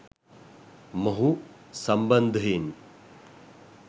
මොහු සම්බන්ධයෙන්